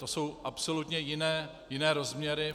To jsou absolutně jiné rozměry.